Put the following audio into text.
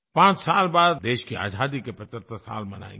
पांच साल बाद देश की आज़ादी के 75 साल मनाएंगे